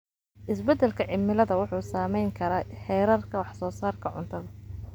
Isbedelka cimilada wuxuu saameyn karaa heerarka wax soo saarka cuntada.